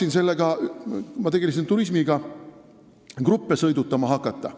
Ma olen tegelenud turismiga ja tahtsin gruppe sõidutama hakata.